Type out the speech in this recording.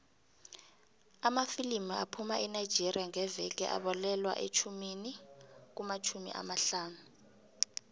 amafilimu aphuma enigeria ngeveke abalelwa kumatjhumi amahlanu